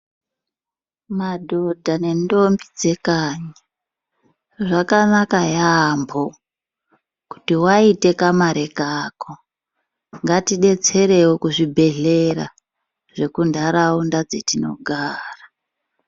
Madhodha nendombi dzekanyi zvakanaka yaambo. Kuti vaite kamari kako, ngatibetserevo kuzvibhedhlera zvekuntaraunda dzetinogara.